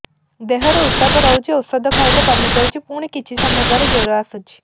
ଦେହର ଉତ୍ତାପ ରହୁଛି ଔଷଧ ଖାଇଲେ କମିଯାଉଛି ପୁଣି କିଛି ସମୟ ପରେ ଜ୍ୱର ଆସୁଛି